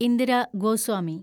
Indira Goswami